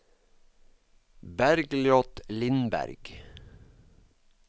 Bergljot Lindberg